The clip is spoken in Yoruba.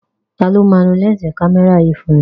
Taló máa nu lẹ́ǹsì kámẹ́rà yìí fún mi?